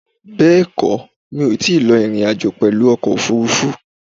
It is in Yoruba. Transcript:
Bẹ́ẹ̀kó, mi ò tíì lọ ìrìn àjò pèlú ọkò òfúrufú